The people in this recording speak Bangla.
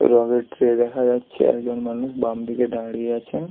রংয়ের ট্রে দেখা যাচ্ছে একজন মানুষ বাম দিকে দাঁড়িয়ে আছেন ।